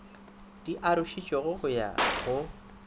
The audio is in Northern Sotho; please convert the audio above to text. di arošitšwego go ya go